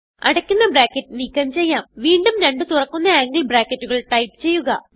അടയ്ക്കുന്ന ബ്രാക്കറ്റ് നീക്കം ചെയ്യാം വീണ്ടും രണ്ട് തുറക്കുന്ന ആംഗിൾ ബ്രാക്കറ്റുകൾ ടൈപ്പ് ചെയ്യുക